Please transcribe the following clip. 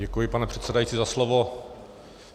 Děkuji, pane předsedající, za slovo.